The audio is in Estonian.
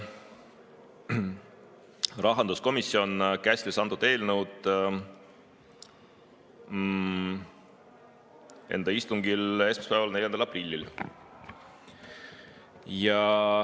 Rahanduskomisjon käsitles antud eelnõu enda istungil esmaspäeval, 4. aprillil.